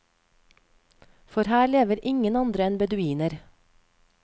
For her lever ingen andre enn beduiner.